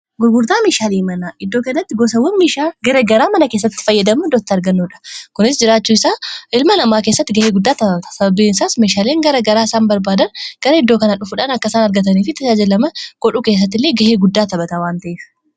Gurgurtaa meeshaalee manaa iddoo kanatti argaa jirru kun gosawwan meeshaalee garagaraa mana kessatti fayyadamnu iddoo itti argannudha. Kunis jiraachuu isaa ilma namaa keessatti ga'ee guddaa taphata sababbiin isaas meeshaaleen gara garaa isaan barbaadan gara iddoo kana dhufuudhaan akka i saan argataniifi tajaajilaman godhuu keessatti illee ga'ee guddaa taphata waan ta'eef.